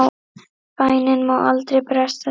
Bænin má aldrei bresta þig!